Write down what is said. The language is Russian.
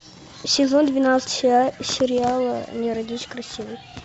сезон двенадцать сериала не родись красивой